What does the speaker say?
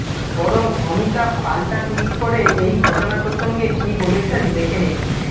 বরং অমিতাভ পাল্টা টুইট করে এই ঘটনা প্রসঙ্গে কী বলেছেন দেখে নিন